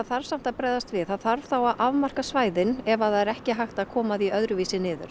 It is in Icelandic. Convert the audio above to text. þarf samt að bregðast við það þarf þá að afmarka svæðin ef að það er ekki hægt að koma því öðruvísi niður